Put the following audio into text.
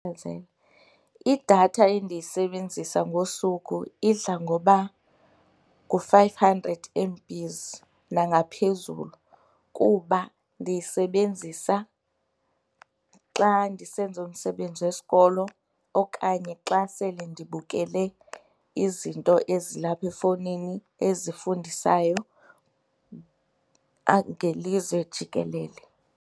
Idatha endiyisebenzisa ngosuku idla ngoba ngu-five hundred M_Bs nangaphezulu kuba ndiyisebenzisa xa ndisenza umsebenzi wesikolo okanye xa sele ndibukele izinto ezilapha efowunini ezifundisayo ngelizwe jikelele.